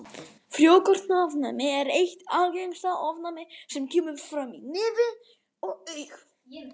Frjókornaofnæmi er eitt algengasta ofnæmið sem kemur fram í nefi og augum.